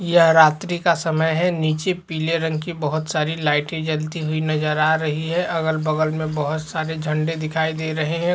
यह रात्री का समय है नीचे पीले रंग की बहोत सारी लाइटे जलती हुई नज़र आ रही है अगल-बगल में बहोत सारे झंडे दिखाई दे रहे है।